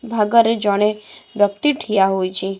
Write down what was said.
ଭାଗରେ ଜଣେ ବ୍ୟକ୍ତି ଠିଆ ହୋଇଛି।